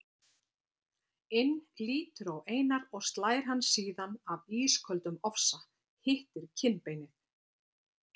inn lítur á Einar og slær hann síðan af ísköldum ofsa, hittir kinnbeinið.